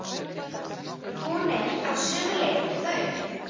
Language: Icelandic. Hún er á sömu leið og þau.